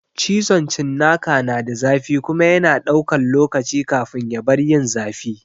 Cizon cinnaka na da zafi kuma yana ɗaukan lokaci kafin ya bar yin zafi.